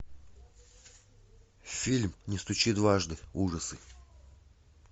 фильм не стучи дважды ужасы